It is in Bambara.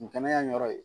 N kɛnɛya in yɔrɔ ye